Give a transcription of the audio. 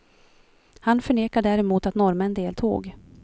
Han förnekar däremot att norrmän deltog.